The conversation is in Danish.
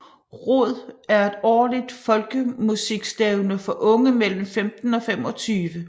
ROD er et årligt folkemusikstævne for unge mellem 15 og 25